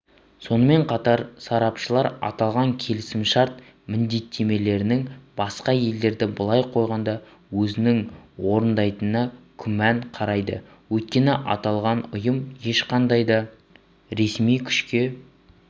сонымен қатар сарапшылар аталған келісімшарт міндеттемелерінің басқа елдерді былай қойғанда өзінің орындайтынына күмәнмен қарайды өйткені аталған ұйым ешқандай да ресми күшке